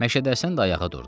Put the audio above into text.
Məşədi Həsən də ayağa durdu.